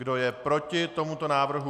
Kdo je proti tomuto návrhu?